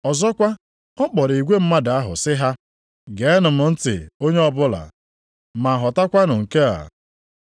Ọzọkwa, ọ kpọrọ igwe mmadụ ahụ sị ha, “Geenụ m ntị onye ọbụla, ma ghọtakwanụ nke a.